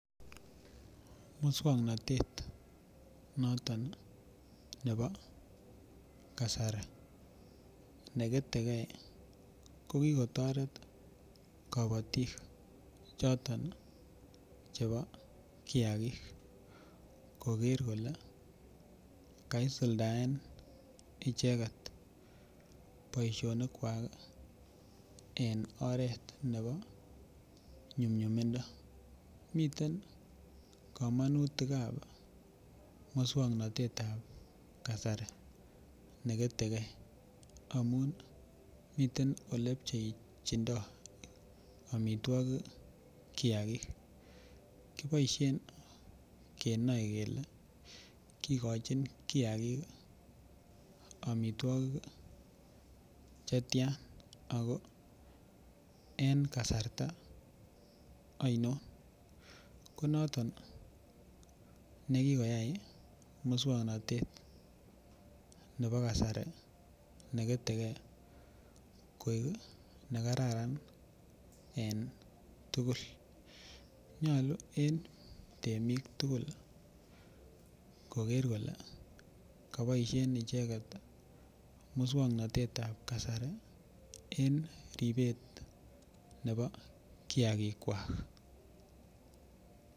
Moswoknatet noton nebo kasari ne ketegei ko ki kotoret kabatik choton Chebo kiagik koger kole kaisuldaen icheget boisionik kwak en oret nebo nyumnyumindo miten kamanutikab moswoknatetab kasari ne ketegei amun miten Ole pchechindo amitwogik kiagik kiboisien kenoe kele kigochin kiagik amitwogik Che tian ago en kasarta ainon ko noton nekikoyai moswoknatet nebo kasari ne ketegei koik ne kararan en tugul nyolu en temik tugul koger kole ka boisien icheget moswoknatet ab kasari en ribet nebo kiagik kwak